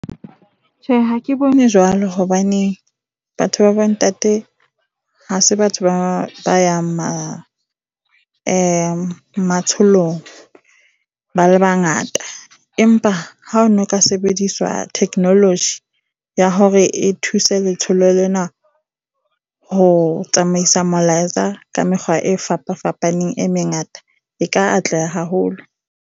Tjhe, ha ke bone jwalo hobaneng batho ba bontate ha se batho ba ba yang matsholong ba le bangata. Empa ha ho ne ho ka sebediswa technology ya hore e thuse letsholo lena, ho tsamaisa molaetsa ka mekgwa e fapafapaneng e mengata, e ka atleha haholo.